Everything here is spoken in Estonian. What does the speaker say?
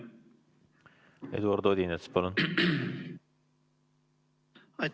Eduard Odinets, palun!